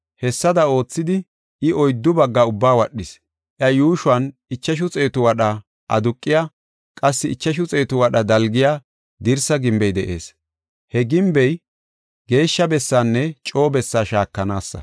Hessada oothidi, I oyddu baggaa ubbaa wadhis. Iya yuushuwan ichashu xeetu wadha aduqiya, qassi ichashu xeetu wadha dalgiya dirsa gimbey de7ees. He gimbey geeshsha bessanne coo bessaa shaakanaasa.